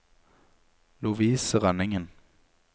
Lovise Rønningen